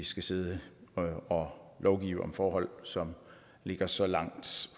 skal sidde og lovgive om forhold som ligger så langt